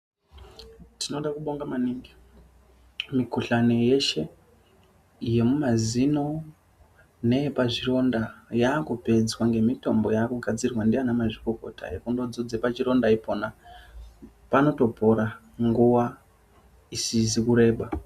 Tinoda kubonga maningi mukuhlani yeshe yemumazino neyepazvironda yaakupedzwa ngemitombo yaakugadzirwa ndiana mazvikokota. Kundozodze pachironda panotopora nguwa isizi kureba.